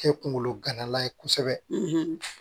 Kɛ kunkolo gana ye kosɛbɛ